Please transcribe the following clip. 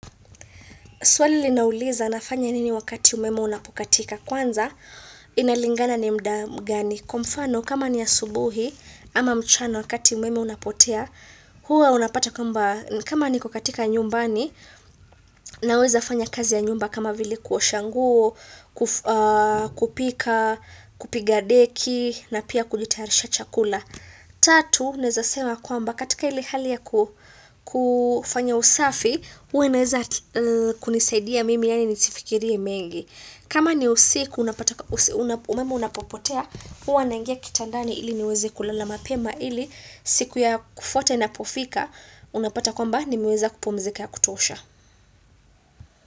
Swali linauliza, nafanya nini wakati umeme unapokatika. Kwanza, inalingana ni muda mgani. Kwa mfano, kama ni asubuhi ama mchana wakati umeme unapotea, huwa unapata kwamba, kama niko nyumbani, naweza fanya kazi ya nyumba kama vile kuosha nguo, kupika, kupiga deki, na pia kukitayarisha chakula. Tatu, naweza sema kwamba katika ile hali ya kufanya usafi, huwa naweza kunisaidia mimi yaani nisifikirie mengi kama ni usiku, umeme unapopotea huwa naingia kitandani ili niweze kulala mapema ili siku ya kufuata inapofika, unapata kwamba nimeweza kupumzika ya kutosha.